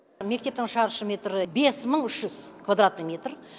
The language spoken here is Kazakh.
мектептің шаршы метрі бес мың үш жүз квадратный метр